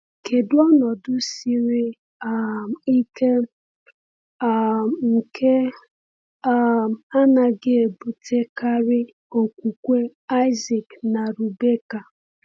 Kedu ọnọdụ siri um ike um nke um anaghị ebutekarị okwukwe Isaac na Rebekah?